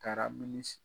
Taara minisir